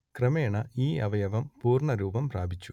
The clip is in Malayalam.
ക്രമേണ ഈ അവയവം പൂർണ്ണ രൂപം പ്രാപിച്ചു